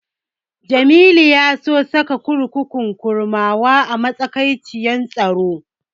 Jamilu ya so saka kurkukun Kurmawa a matsayin kurkuku mai madaidaiciyar tsaro.